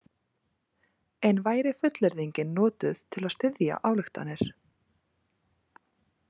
En væri fullyrðingin notuð til að styðja ályktanir.